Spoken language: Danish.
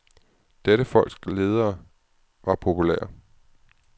Dette folks ledere var populære.